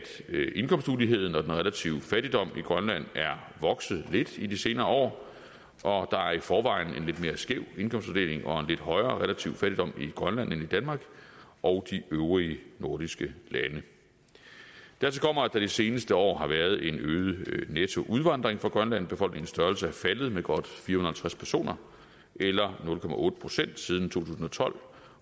at indkomstmuligheden og den relative fattigdom i grønland er vokset lidt i de senere år og der er i forvejen en lidt mere skæv indkomstfordeling og en lidt højere relativ fattigdom i grønland end i danmark og de øvrige nordiske lande dertil kommer at der de seneste år har været en øget netto udvandring fra grønland befolkningens størrelse er faldet med godt fire hundrede og halvtreds personer eller nul procent siden to tusind og tolv